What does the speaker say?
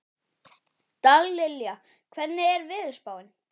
Dallilja, hvernig er veðurspáin?